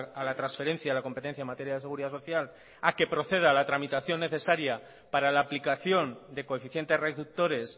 a la transferencia la competencia en materia de seguridad social a que proceda a la tramitación necesaria para la aplicación de coeficientes reductores